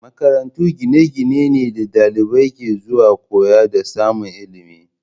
Makarantu gine-gine ne da dalibai ke zuwa koyo da samun ilimi